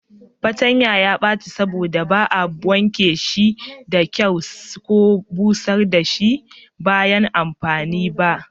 Fatanya ya baci saboda ba a wanke shi da kyau ko busar da shi bayan amfani da shi ba.